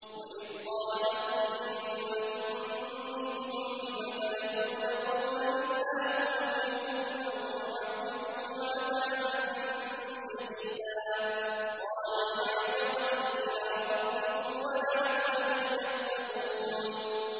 وَإِذْ قَالَتْ أُمَّةٌ مِّنْهُمْ لِمَ تَعِظُونَ قَوْمًا ۙ اللَّهُ مُهْلِكُهُمْ أَوْ مُعَذِّبُهُمْ عَذَابًا شَدِيدًا ۖ قَالُوا مَعْذِرَةً إِلَىٰ رَبِّكُمْ وَلَعَلَّهُمْ يَتَّقُونَ